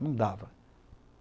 Não dava.